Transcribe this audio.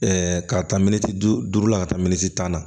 ka taa minisiri la ka taa minisiri tan na